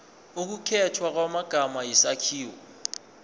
ukukhethwa kwamagama isakhiwo